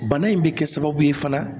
Bana in bɛ kɛ sababu ye fana